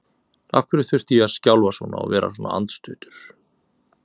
Af hverju þurfti ég að skjálfa svona og vera svona andstuttur?